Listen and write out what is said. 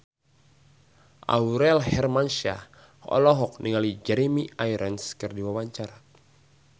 Aurel Hermansyah olohok ningali Jeremy Irons keur diwawancara